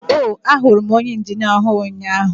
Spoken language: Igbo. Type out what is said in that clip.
oh, ahụrụ m onye injinia ọhụrụ ụnyahụ.